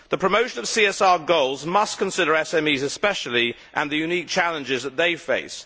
The promotion of CSR goals must consider SMEs especially, and the unique challenges that they face.